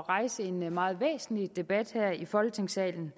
rejse en meget væsentlig debat her i folketingssalen